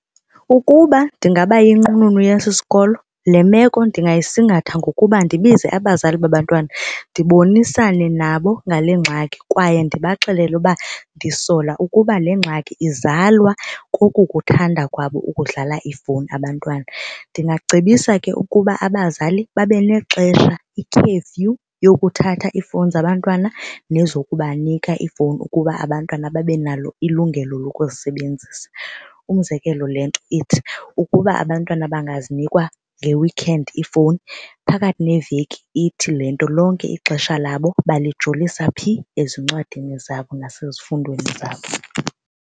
Ukuba ndingaba yinqununu yesi sikolo le meko ndingayisingatha ngokuba ndibize abazali babantwana ndibonisane nabo ngale ngxaki kwaye ndibaxelele ukuba ndisola ukuba le ngxaki izalwa kokukuthanda kwabo ukudlala ifowuni abantwana. Ndingacebisa ke ukuba abazali babe nexesha i-curfew yokuthatha iifowuni zabantwana nezokubanika iifowuni ukuba abantwana babe nalo ilungelo lokuzisebenzisa. Umzekelo le nto ithi ukuba abantwana bangazinikwa nge-weekend iifowuni phakathi neveki ithi le nto lonke ixesha labo balijolisa phi ezincwadini zabo nasezifundweni zabo.